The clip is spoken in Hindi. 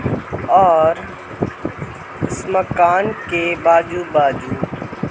और इस मकान के बाजू-बाजू --